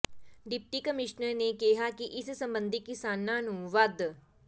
deputy commissioner ਨੇ ਕਿਹਾ ਕਿ ਇਸ ਸਬੰਧੀ ਕਿਸਾਨਾਂ ਨੂੰ ਵੱਧ